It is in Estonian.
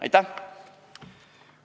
Aitäh!